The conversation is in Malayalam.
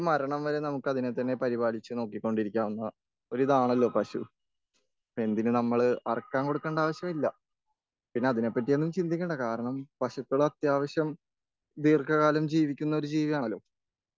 മരണം വരെ നമുക്കതിനെ തന്നെ പരിപാലിച്ച് നോക്കികൊണ്ടിരിക്കാവുന്ന ഒരിതാണല്ലോ പശു.എന്തിന് നമ്മള് അറക്കാൻ കൊടുക്കണ്ട ആവശ്യമില്ല.പിന്നെ അതിനെ പറ്റിയൊന്നും ചിന്തിക്കണ്ടാ കാരണം.പശുക്കൾ അത്യാവശ്യം ദീർക്കകാലം ജീവിക്കുന്ന ഒരു ജീവിയാണല്ലോ.